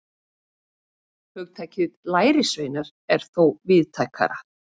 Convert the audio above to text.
Hugtakið lærisveinar er þó víðtækara.